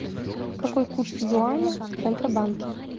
какой курс юаня в центробанке